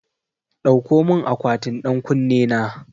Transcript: Dauko mun akwatin ɗan ƙunne na